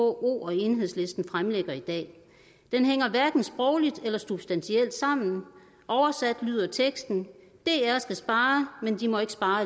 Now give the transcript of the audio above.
vko og enhedslisten fremsætter i dag den hænger hverken sprogligt eller substantielt sammen oversat lyder teksten dr skal spare men de må ikke spare